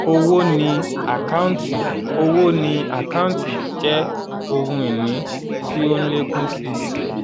owó ni àkáǹtì owó ni àkáǹtì jẹ́ ohun ìní tó ń lékún si.